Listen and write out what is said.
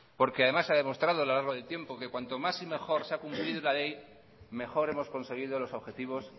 porque además se ha demostrado a lo largo del tiempo que cuanto más y mejor se ha cumplido la ley mejor hemos conseguido los objetivos